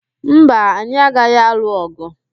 Mba, anyị agaghị alụ ọ̀gụ̀.